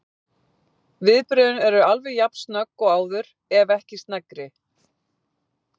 Viðbrögðin eru alveg jafn snögg og áður, ef ekki sneggri.